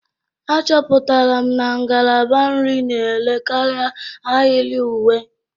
Achọpụtara m na ngalaba nri na-ere karịa ahịrị uwe